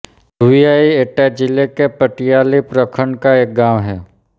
धुविआई एटा जिले के पटियाली प्रखण्ड का एक गाँव है